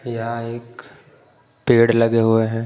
या एक पेड़ लगे हुए हैं।